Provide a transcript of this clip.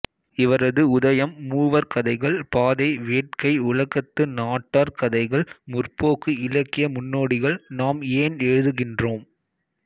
இவரது உதயம் மூவர் கதைகள் பாதை வேட்கை உலகத்து நாட்டார் கதைகள் முற்போக்கு இலக்கிய முன்னோடிகள் நாம் ஏன் எழுதுகின்றோம்